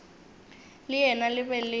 le yena le be le